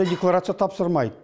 декларация тапсырмайды